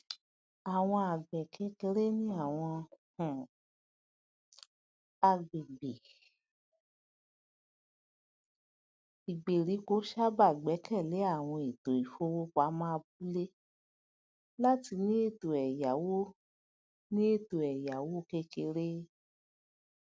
àwọn àgbẹkékeré ní àwọn um àgbègbè ìgbèríko sábà gbẹkẹlé àwọn ètò ìfowopamọ abúlé láti ní ètò èyáwó ní ètò èyáwó kékeré